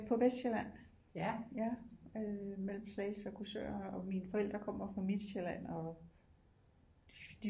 På Vestsjælland ja øh mellem Slagelse og Korsør og mine forældre kommer fra Midtsjælland og